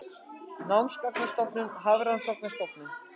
Námsgagnastofnun- Hafrannsóknastofnun.